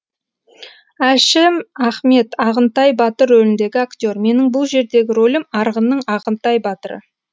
әшім ахмет ағынтай батыр рөліндегі актер менің бұл жердегі рөлім арғынның ағынтай батыры